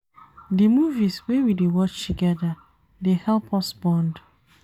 Di movies wey we dey watch togeda dey help us bond.